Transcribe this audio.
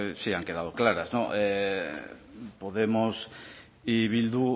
sí han quedado claras podemos y bildu